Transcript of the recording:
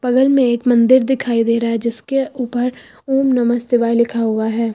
बगल में एक मंदिर दिखाई दे रहा है जिसके ऊपर ओम नमः शिवाय लिखा हुआ है।